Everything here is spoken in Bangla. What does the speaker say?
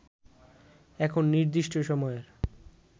এখন নির্দিষ্ট সময়ের